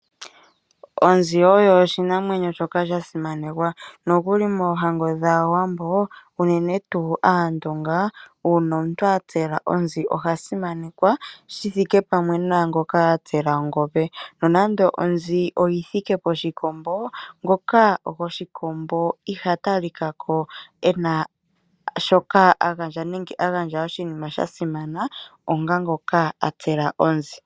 Onzi oyo oshinamwenyo shoka sha simanekwa. Nokuli moohango dhAawambo, unene tuu Aandonga, ngele omuntu a tsela onzi oha simanekwa, shi vulithe ngoka a tsela ongombe. Nonando onzi oyi thike poshikombo, ngoka goshikombo iha talika ko e na sgoka a gandja, nenge a gandja oshinima sha simana, onga ngoka a tsela onzi.